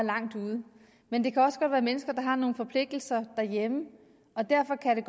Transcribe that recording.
langt ude men det kan også godt være mennesker der har nogle forpligtelser derhjemme og derfor kan det